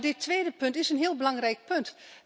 Maar dit tweede punt is een heel belangrijk punt.